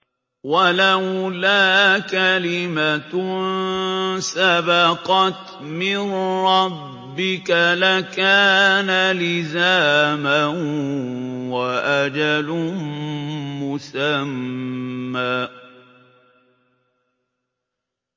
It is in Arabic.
وَلَوْلَا كَلِمَةٌ سَبَقَتْ مِن رَّبِّكَ لَكَانَ لِزَامًا وَأَجَلٌ مُّسَمًّى